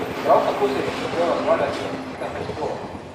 Prav tako sem jim začel razlagati o razlikah med spoloma ...